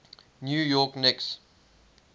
new york knicks